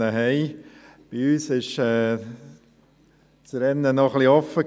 Bei uns war das Rennen intern noch etwas offen.